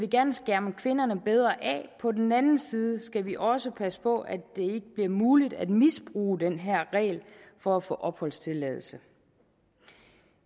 gerne skærme kvinderne bedre af på den anden side skal vi også passe på at det ikke bliver muligt at misbruge den her regel for at få opholdstilladelse